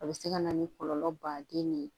A bɛ se ka na ni kɔlɔlɔ baden de ye